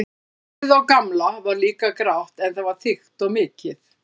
Hárið á Gamla var líka grátt en það var þykkt og mikið.